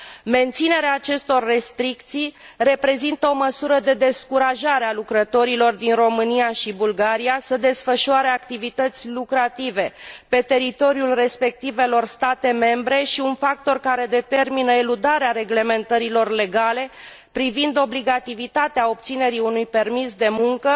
Menținerea acestor restricții reprezintă o măsură de descurajare a lucrătorilor din România și Bulgaria să desfășoare activități lucrative pe teritoriul respectivelor state membre și un factor care determină eludarea reglementărilor legale privind obligativitatea obținerii unui permis de muncă,